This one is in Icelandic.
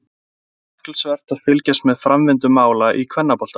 Það verður athyglisvert að fylgjast með framvindu mála í kvennaboltanum.